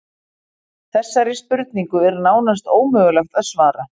Þessari spurningu er nánast ómögulegt að svara.